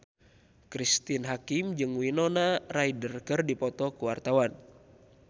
Cristine Hakim jeung Winona Ryder keur dipoto ku wartawan